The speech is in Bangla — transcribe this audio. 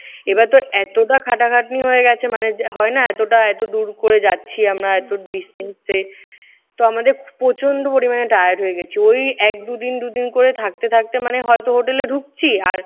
এইবার তোর এতোটা খাটাখাটনি হয়ে গেছে। মানে হয় না এতটা এতো দূর করে যাচ্ছি আমরা এতো distance এ। তো আমাদের প্রচন্ড পরিমাণে tired হয়ে গেছি। ওই এক দু দিন দুই দিন করে থাকতে থাকতে মানে হয়তো hotel এ ঢুকছি আর